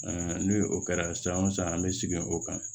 ni o kɛra san o san an bɛ segin o kan